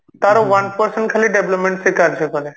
ତାର one percent ଖାଲି development ସେ କାର୍ଯ୍ୟ କରେ